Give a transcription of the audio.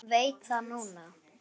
Veit það núna.